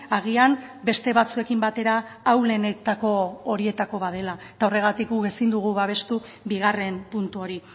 agian beste batzuekin batera ahulenetako horietako bat dela eta horregatik guk ezin dugu babestu bigarren puntu hori